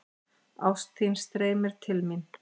Ást þín streymir til mín.